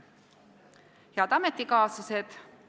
Head ametikaaslased!